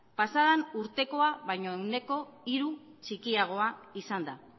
pasaden urtean baino ehuneko hiru txikiagoa izan da